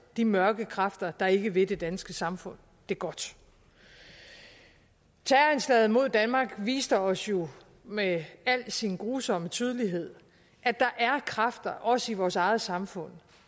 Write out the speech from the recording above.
de mørke kræfter der ikke vil det danske samfund det godt terroranslaget mod danmark viste os jo med al sin grusomme tydelighed at der er kræfter også i vores eget samfund